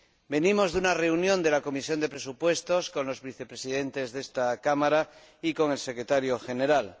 Venimos de una reunión de la Comisión de Presupuestos con los Vicepresidentes de esta Cámara y con el Secretario General.